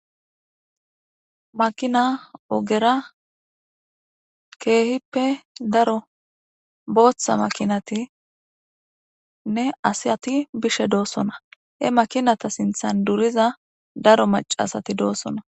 makina ogera keehippe daro booththa makinatinne asiyati bishe doosona he makinata sinthan duriza daro macasati doossona